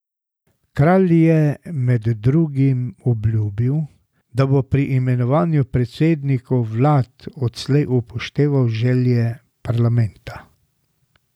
Kralj je med drugim obljubil, da bo pri imenovanju predsednikov vlad odslej upošteval želje parlamenta.